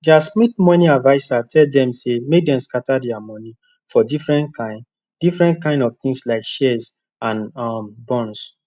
dia smith moni adviser tell dem say make dem scatter dia moni for different kain different kain of tins like shares and um bonds